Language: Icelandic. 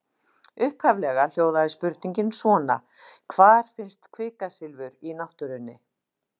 Upphaflega hljóðaði spurningin svona: Hvar finnst kvikasilfur í náttúrunni?